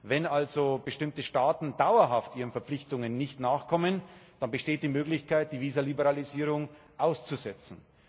Wenn also bestimmte Staaten dauerhaft ihren Verpflichtungen nicht nachkommen, besteht die Möglichkeit, die Visaliberalisierung auszusetzen.